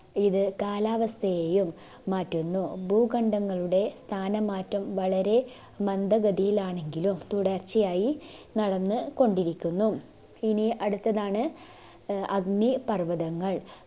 ഇത് കാലാവസ്ഥയെയും മാറ്റുന്നു ഭൂകണ്ഡങ്ങളുടെ സ്ഥാനമാറ്റം വളരെ മന്ദഗതിയിലാണെങ്കിലും തുടർച്ചയായി നടന്ന് കൊണ്ടിരിക്കുന്നു ഇനി അടുത്തതാണ് ആഹ് അഗ്നിപർവ്വതങ്ങൾ